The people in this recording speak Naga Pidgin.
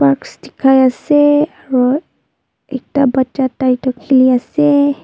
dikhaiase aro ekta bacha tai toh khiliase.